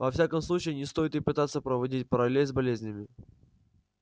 во всяком случае не стоит и пытаться проводить параллель с болезнями